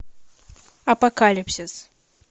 апокалипсис